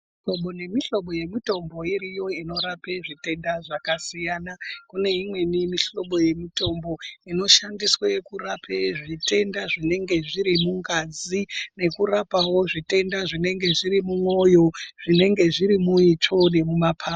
Kune mihlobo yemitombo iriyo inorape zvitenda zvakasiyana kuneimweni yemihlobo yemitombo inoshandiswa kurape zvitenda zvinenge zviri mungazi nekurapawo zvitenda zvinenge zviri mumoyo zvinenge zviri muitsva nemumapapu.